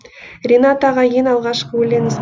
ринат аға ең алғашқы өлеңіңіз